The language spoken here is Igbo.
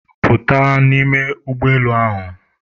Pụta n'ime ụgbọelu ahụ!